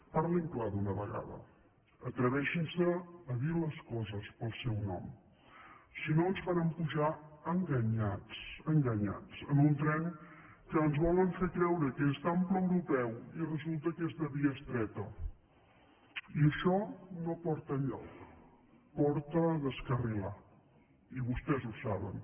parli clar d’una vegada atreveixin se a dir les coses pel seu nom si no ens faran pujar enganyats enganyats en un tren que ens volen fer creure que és d’ample europeu i resulta que és de via estreta i això no porta enlloc porta a descarrilar i vostès ho saben